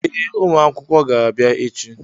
Ee, ụmụ akwụkwọ ga-abịa echi.